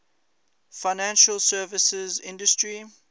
financial services industry